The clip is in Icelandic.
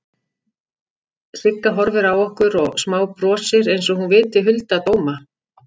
Sigga horfir á okkur og smábrosir einsog hún viti hulda dóma.